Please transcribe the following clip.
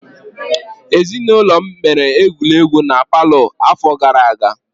Ezinụlọm mere egwuregwu na palọ afọ gara aga.